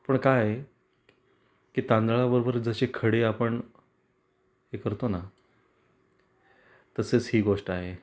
पण काय आहे की तांदळाबरोबर जशे खडे आपण हे करतो ना तसच ही गोष्ट आहे.